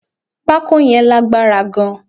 Pako yàn lágbára gan